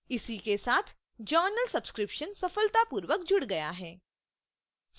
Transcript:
इसी के साथ journal subscription सफलतापूर्वक जुड़ गया है